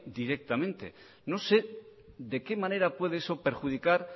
directamente no sé de qué manera puede eso perjudicar